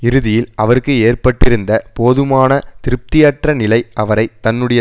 இறுதியில் அவருக்கு ஏற்பட்டிருந்த போதுமான திருப்தியற்ற நிலை அவரை தன்னுடைய